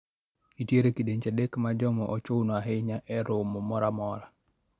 Nitiere kidienje adek mar joma ochuno ahinya e romo moro amora